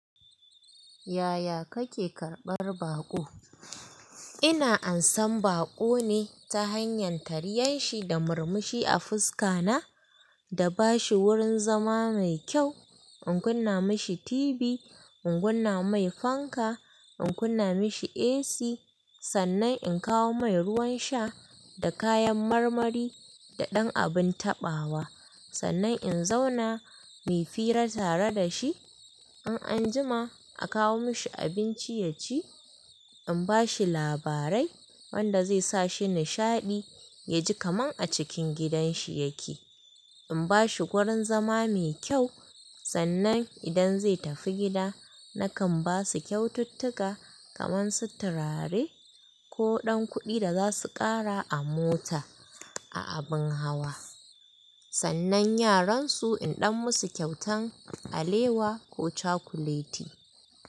Yaya kake karɓar baƙo? Ina ansan baƙo ne ta hanyar tariyan shi da murmushi a fuska na, da bashi wurin zama mai kyau. In kunna mishi TV, in kunna mai fanka, in kunna mishi AC. Sannan in kawo mai ruwan sha da kayan marmari da ɗan abin taɓawa. Sannan in zauna mai fira tare da shi. In an jima a kawo mishi abinci ya ci. In bashi labarai wanda zai sa shi nishaɗi, yaji kaman a cikin gidan shi yake. In bashi wurin zama mai kyau, sannan idan zai tafi gida nakan basu kyaututtuka kaman su turare ko ɗan kuɗi da zasu kara a mota, a abin hawa. Sannan yaran su in ɗan musu kyautan alewa ko cakuleti.